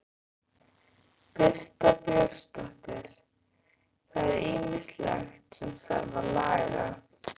Birta Björnsdóttir: Það er ýmislegt sem þarf að laga?